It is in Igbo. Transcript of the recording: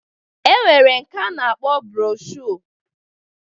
E nwere nke a na-akpọ broshuọ